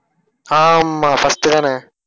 ஆமா, first தானே?